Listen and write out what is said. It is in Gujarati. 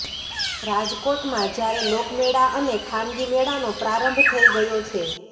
રાજકોટમાં જયારે લોકમેળા અને ખાનગી મેળાનો પ્રારંભ થઈ ગયો છે